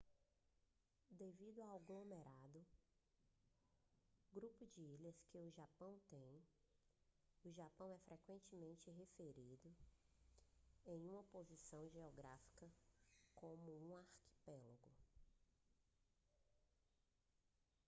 devido ao aglomerado/grupo de ilhas que o japão tem o japão é frequentemente referido em uma posição geográfica como um arquipélago